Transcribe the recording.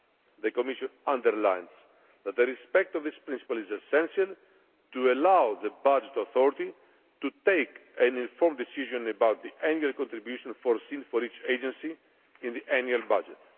The Commission underlines that the respect of this principle is essential to allow the budget authority to take an informed decision about the annual contribution foreseen for each agency in the annual budget.